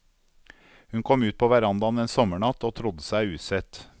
Hun kom ut på verandaen en sommernatt og trodde seg usett.